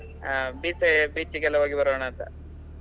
ಹಾ beach side beach ಗೆಲ್ಲಾ ಹೋಗಿ ಬರೋಣ ಅಂತ?